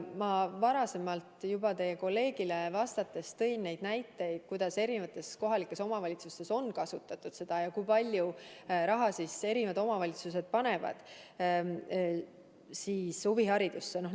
Ma enne teie kolleegile vastates juba tõin näiteid, kuidas kohalikes omavalitsustes on seda raha kasutatud ja kui palju raha eri omavalitsused huviharidusse panevad.